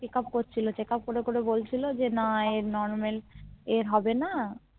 Checkup করছিলো Checkup করে করে বলছিলো যে না এর Normal এ হবেনা